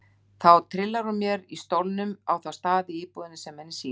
Þá trillar hún mér í stólnum á þá staði í íbúðinni sem henni sýnist.